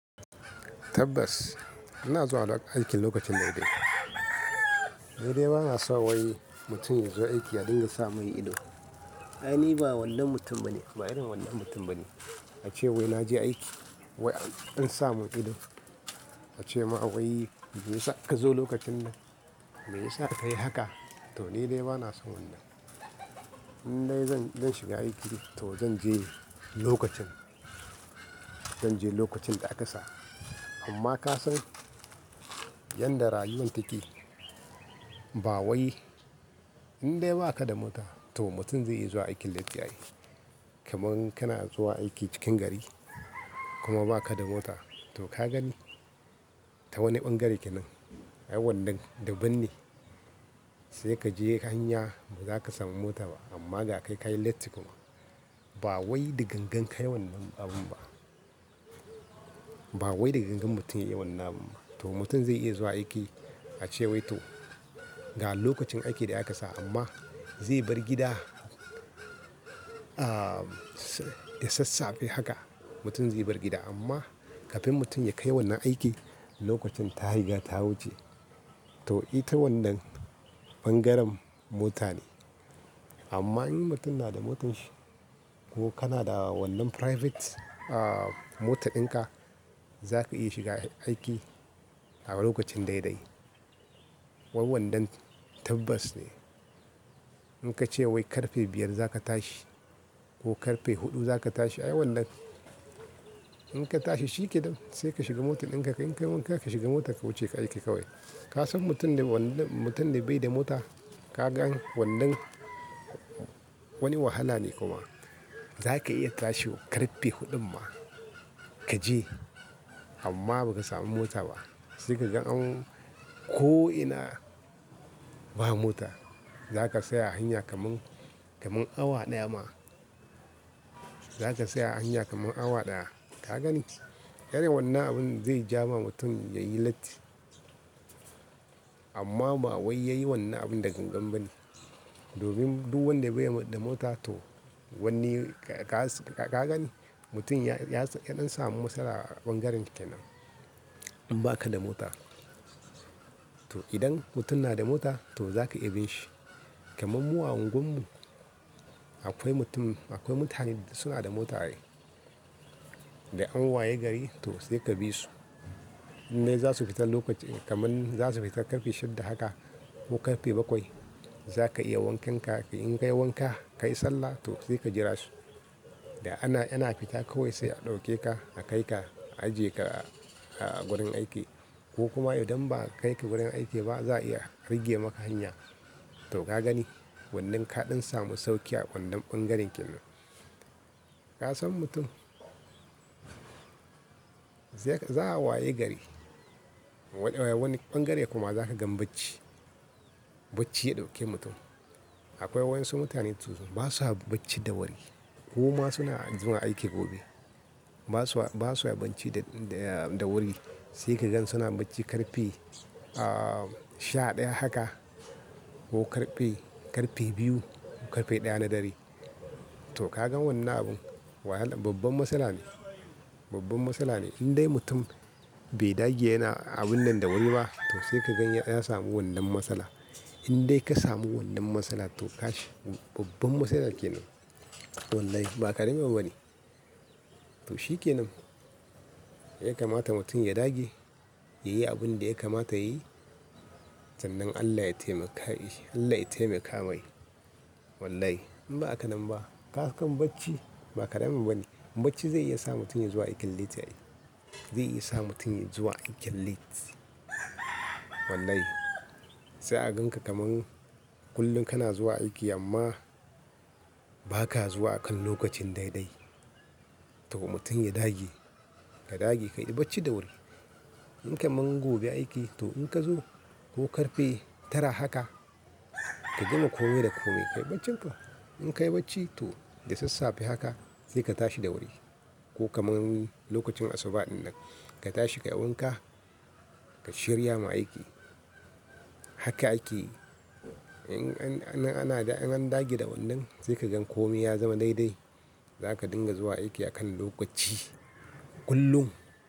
Tabbas, ina zuwa aikin lokacin daidai. Dai-dai ba na so wai mutum ya zo aiki ya dinga sa min ido. Ai, ni ba wannan mutum bane, ba irin wannan mutum bane. A ce wai na je aiki, wai an sa mun ido. A ce ma wai me yasa ka zo lokacin nan? Me yasa ka yi haka? To, ni dai ba na son wannan. In dai zan, zan shiga aiki to zan je lokacin, zan je lokacin da aka sa. Amma ka san yanda rayuwan take, ba wai in dai ba ka da mota to mutum zai iya zuwa aikin latti ai. Kaman kana zuwa aiki cikin gari, kuma ba ka da mota, to ka gani ta wani ɓangare kenan, ai wannan daban ne. Sai ka je hanya, ba za ka samu mota ba, amma ga kai ka yi latti kuma. Ba wai da gangan ka yi wannan abun ba. Ba wai da gangan mutum ya yi wannan abun ba. To mutum zai iya zuwa aiki, a ce wai to ga lokacin aiki da a ka sa amma zai bar gida, ah, da sassafe haka. Mutum zai bar gida, amma kafin mutum ya kai wannan aiki lokacin ta riga ta wuce. To ita wannan ɓangaren mota ne. Amma in mutum na da motar shi, ko kana da wannan private, ah, mota ɗinka, za ka iya shiga aiki a lokacin dai-dai. Wai wannan tabbas ne. In ka ce wai karfe biyar za ka tashi ko karfe huɗu za ka tashi, ai wannan in ka tashi shike nan sai ka shiga motar ɗinka, in ka yi wanka ka shiga mota ka wuce ka aiki kawai. Ka san mutum da wannan, mutum da bai da mota, ka gan wannan wani wahala ne kuma. Za ka iya tashi karfe huɗun ma, ka je amma ba ka samu mota ba. Sai ka gan an, ko'ina ba mota. Za ka tsaya a hanya kaman, kaman awa ɗaya ma. Za ka tsaya a hanya kaman awa ɗaya. Ka gani? Irin wannan abun zai ja ma mutum ya yi latti, amma ba wai yayi wannan abun da gangan ba ne. Domin duk wanda bai da mota to, wanni ka, ka gani mutum ya, ya, ya ɗan samu matsala a ɓangaren kenan, in ba ka da mota. To idan mutum na da mota, to za ka iya bin shi. Kaman mu a unguwar mu, akwai mutum, akwai mutane da suna da mota ai. Da an waye gari to sai ka bi su. In dai za su fita lokacin, kaman za su fita ƙarfe shidda haka, ko ƙarfe bakwai, za ka iya wankenka in ka yi wanka, ka yi sallah to sai ka jira su. Da ana, yana fita kawai sai a ɗauke ka a kai ka ajiye ka a gurin aiki. Ko kuma idan ba'a kai ka gurin aiki ba za'a iya rage maka hanya. To ka gani, wannan ka ɗan samu sauki a wannan ɓangaren kenan. Ka san mutum, za'a waye gari wani ɓangare kuma za ka gan bacci. Bacci ya ɗauke mutum. Akwai wa'insu mutane sosai, ba sa bacci da wuri, koma suna zuwa aiki gobe. Ba sa, ba sa bacci da, da wuri. Sai ka gan suna bacci karfe, ah, sha ɗaya haka ko karfe, karfe biyu ko karfe ɗaya na dare. To ka gan wannan abun wahala, babban matsala ne. Babban matsala ne. In dai mutum bai dage yana abun nan da wuri ba, to sai ka gan ya sami wannan matsala. In dai ka samu wannan matsala to kash, babban matsala kenan. Wallahi ba karami ne bane to shike nan. Ya kamata mutum ya dage, ya yi abin da ya kamata yayi, sannan Allah ya taimaka, Allah ya taimaka mai. Wallahi, in ba haka nan ba, ka gan bacci ba karamin abu bane. Bacci zai iya sa mutum ya zuwa aikin latti ai. Zai iya sa mutum ya zuwa aikin late. Wallahi. Sai a ganka kaman kullum kana zuwa aiki amma ba ka zuwa akan lokacin dai-dai. To mutum ya dage, ka dage ka yi bacci da wuri. In kaman gobe aiki, to in ka zo ko karfe tara haka, ka gama kome da kome, ka yi baccinka. In ka yi bacci, to da sassafe haka sai ka tashi da wuri. Ko kaman lokacin asuba ɗinnan, ka tashi ka yi wanka, ka shirya ma aiki. Haka akeyi. In an dage da wannan sai ka gan komi ya zama daidai. Za ka dinga zuwa aiki akan lokaci kullum.